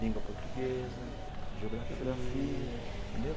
língua portuguesa, geografia, entendeu?